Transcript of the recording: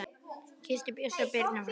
Kysstu Bjössa og Birnu frá mér.